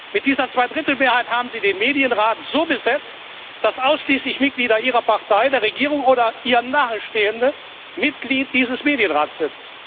Mit dieser Zweidrittelmehrheit haben Sie den Medienrat so besetzt, dass ausschließlich Mitglieder Ihrer Partei der Regierung oder ihr Nahestehende Mitglied dieses Medienrats sind.